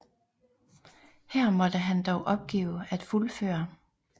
Her måtte han dog opgive at fuldføre